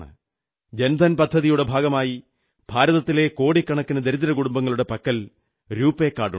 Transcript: ജൻധൻ പദ്ധതിയുടെ ഭാഗമായി ഭാരതത്തിലെ കോടിക്കണക്കിന് ദരിദ്രകുടുംബങ്ങളുടെ പക്കൽ രുപേ കാർഡുണ്ട്